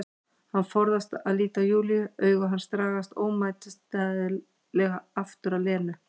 Hann forðast að líta á Júlíu, augu hans dragast ómótstæðilega aftur að Lenu.